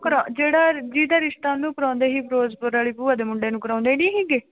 ਕਰਾ ਜਿਹੜਾ ਜਿਹਦਾ ਰਿਸਤਾ ਉਹਨੂੰ ਕਰਵਾਉਂਦੇ ਸੀ ਫਿਰੋਜ਼ਪੁਰ ਵਾਲੀ ਭੂਆ ਦੇ ਮੁੰਡੇ ਨੂੰ ਕਰਵਾਉਂਦੇ ਨੀ ਸੀਗੇ।